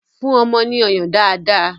Fún ọmọ ní ọyàn dáadáa!